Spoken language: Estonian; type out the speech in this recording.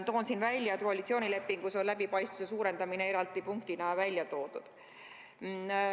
Toon siin välja, et koalitsioonilepingus on läbipaistvuse suurendamine eraldi punktina välja toodud.